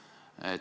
Palun!